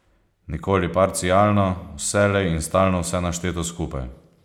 Nikoli parcialno, vselej in stalno vse našteto skupaj.